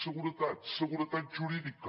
seguretat seguretat jurídica